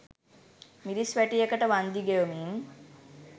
මිරිස් වැටියකට වන්දි ගෙවමින්